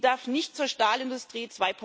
Sie darf nicht zur Stahlindustrie